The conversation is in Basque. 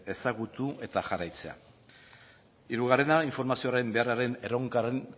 ezagutu eta jarraitzea hirugarrena informazioaren beharraren erronkaren